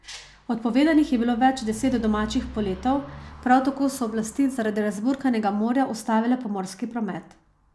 Odpovedanih je bilo več deset domačih poletov, prav tako so oblasti zaradi razburkanega morja ustavile pomorski promet.